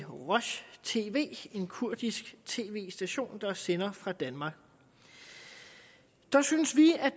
roj tv en kurdisk tv station der sender fra danmark der synes vi